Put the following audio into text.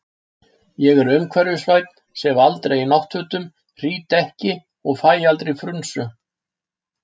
Ég er umhverfisvænn, sef aldrei í náttfötum, hrýt ekki og fæ aldrei frunsu.